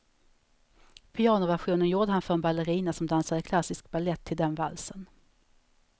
Pianoversionen gjorde han för en ballerina, som dansade klassisk balett till den valsen.